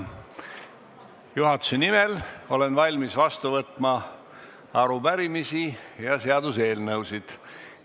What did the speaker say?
Juhatuse nimel olen valmis vastu võtma arupärimisi ja seaduseelnõusid.